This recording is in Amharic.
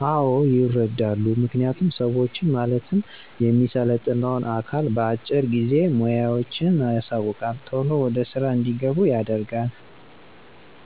አወ ይረዳሉ። ምክንያቱም ሰዋችን ማለትም የሚሰለጥነውን አካል በአጭር ጊዜ ሙያዋችን ያሳውቃል ቶሎ ወደ ስራ እንዲገቡ ያደርጋል።